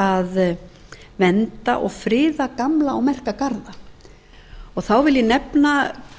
að vernda og friða gamla og merka garða þá vil ég nefna